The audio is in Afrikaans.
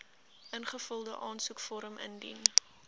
ingevulde aansoekvorm indien